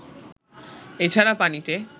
এছাড়া পানিতে